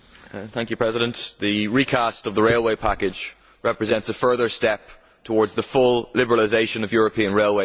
Mr President, the recast of the railway package represents a further step towards the full liberalisation of European railways.